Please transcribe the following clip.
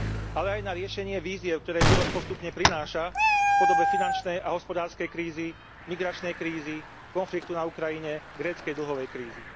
Ale aj na riešenie vízie, v ktorej život postupne prináša v podobe finančnej a hospodárskej krízy, migračnej krízy, konfliktu na Ukrajine, gréckej dlhovej krízy.